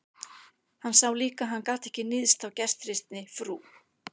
Hann sá líka að hann gat ekki níðst á gestrisni frú